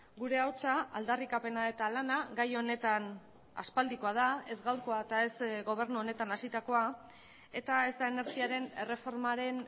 gure ahotsa aldarrikapena eta lana gai honetan aspaldikoa da ez gaurkoa eta ez gobernu honetan hasitakoa eta ez da energiaren erreformaren